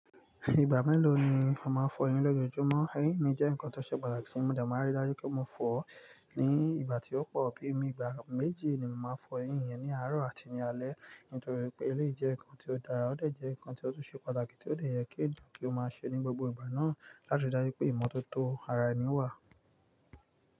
Ìgbà mélòó ni ó máa fọ eyín lójoojúmọ́? Eyín mi jẹ́ nǹkan tó ṣe pàtàkì, mo de máa rí dájú pé mo fọ ó ní ìgbà tí ó pọ̀, bí i igba méjì ni mo máa fọ eyín mi ní àárọ̀ àti ní alé nítorí pé eléyìí jẹ́ nǹkan tí ó dára, ó de jẹ nǹkan tí ó tún ṣe pàtàkì tí ó dè yẹ kí eniyan kí ó máa ṣe ní gbogbo ìgbà náà láti rí dájú pé ìmọ́tótó ara ẹni wà.